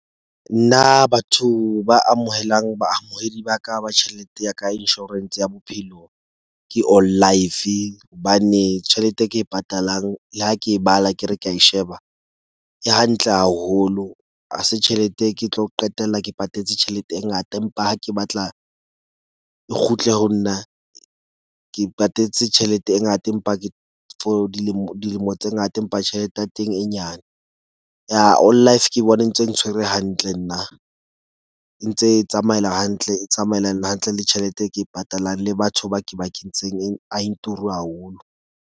Nna batho ba amohelang baamohedi ba ka ba tjhelete ya ka insurance ya bophelo, ke All Life hobane tjhelete e ke e patalang le ha ke e bala ke re ke a e sheba, e hantle haholo. Ha se tjhelete ke tlo qetella ke patetse tjhelete e ngata, empa ha ke batla e kgutle ho nna, ke patetse tjhelete e ngata, empa ke for dilemo tse ngata. Empa tjhelete ya teng e nyane. All Life ke bone ntse ntshwere hantle nna e ntse e tsamaela hantle. E tsamaelana hantle le tjhelete e ke e patalang le batho ba ke ba kentseng a e turu haholo.